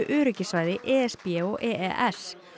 öryggissvæði e s b og e e s